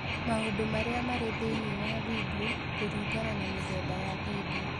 Maũndũ marĩa marĩ thĩinĩ wa video kũringana na mĩthemba ya video